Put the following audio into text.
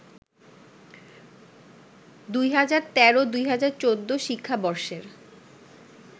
২০১৩-২০১৪ শিক্ষাবর্ষের